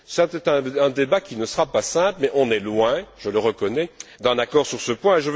C'est un débat qui ne sera pas simple mais on est loin, je le reconnais, d'un accord sur ce point.